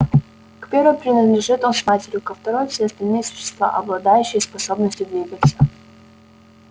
к первой принадлежит он с матерью ко второй все остальные существа обладающие способностью двигаться